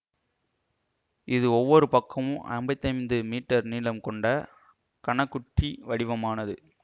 இது ஒவ்வொரு பக்கமும் அம்பத்தைந்து மீட்டர் நீளம் கொண்ட கனக் குற்றி வடிவமானது